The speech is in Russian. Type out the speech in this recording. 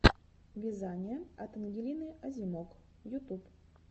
вязание от ангелины озимок ютуб